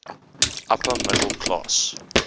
upper middle class